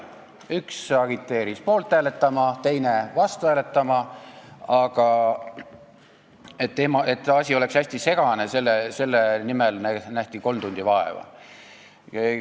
Üks agiteeris poolt hääletama, teine vastu hääletama, aga et asi oleks hästi segane, selle nimel nähti kolm tundi vaeva.